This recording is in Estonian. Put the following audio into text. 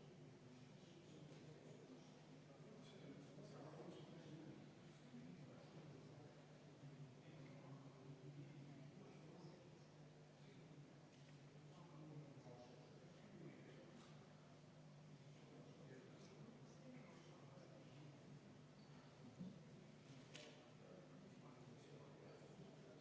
13. muudatusettepanek, esitatud Eesti Konservatiivse Rahvaerakonna fraktsiooni poolt, juhtivkomisjon on